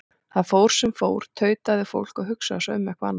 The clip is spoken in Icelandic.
Það fór sem fór, tautaði fólk, og hugsaði svo um eitthvað annað.